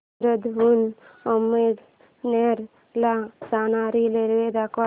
सूरत हून अमळनेर ला जाणारी रेल्वे दाखव